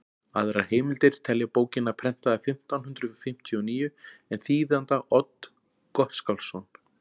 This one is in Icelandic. aðrar heimildir telja bókina prentaða fimmtán hundrað fimmtíu og níu en þýðanda odd gottskálksson